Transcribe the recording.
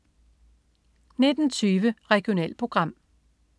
19.20 Regionalprogram